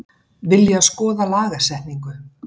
Vilja skoða lagasetningu